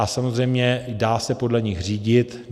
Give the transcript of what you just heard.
A samozřejmě dá se podle nich řídit.